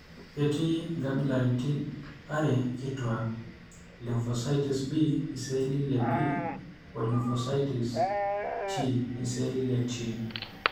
Ketii inkabilaitin are kituak: ilymphocytes B(iceelli leB) olymphocytes T(iceelli leT).